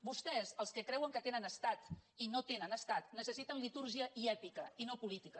vostès els que creuen que tenen estat i no tenen estat necessiten litúrgia i èpica i no política